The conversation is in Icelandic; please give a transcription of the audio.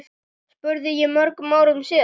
spurði ég mörgum árum síðar.